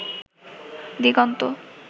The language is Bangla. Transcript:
দিগন্ত